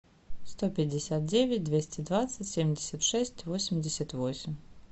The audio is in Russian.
сто пятьдесят девять двести двадцать семьдесят шесть восемьдесят восемь